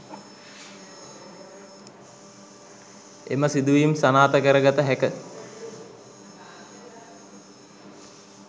එම සිදුවීම් සනාථ කරගත හැක